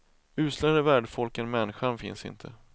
Uslare värdfolk än människan finns inte.